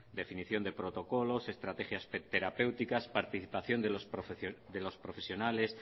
definición de protocolos estrategias terapéuticas participación de los profesionales